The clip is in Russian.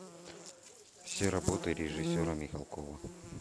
все работы режиссера михалкова